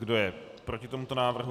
Kdo je proti tomuto návrhu?